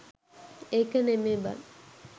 ඒක නෙමේ බන්